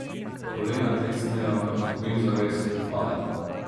Kolena klecnejo, izgubim zavest, padem.